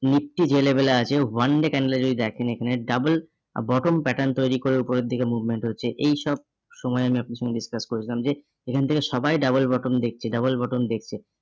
nifty যে level এ আছে, one day candle এ যদি দেখেন এখানে double bottom pattern তৈরী করে উপরের দিকে movement হচ্ছে। এইসব আমি আপনার সঙ্গে discuss করেছিলাম যে এখান থেকে সবাই double button দেখছে double button দেখছে।